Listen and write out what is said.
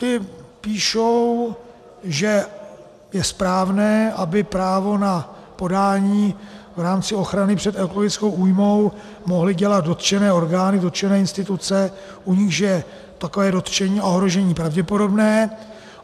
Ti píšou, že je správné, aby právo na podání v rámci ochrany před ekologickou újmou mohly dělat dotčené orgány, dotčené instituce, u nichž je takové dotčení, ohrožení pravděpodobné.